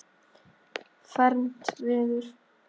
fermt verður.